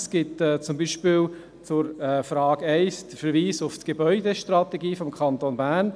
Es gibt zum Beispiel zur Frage 1 den Verweis auf die Gebäudestrategie des Kantons Bern.